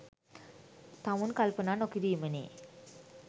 තමුන් කල්පනා නොකිරීමනේ.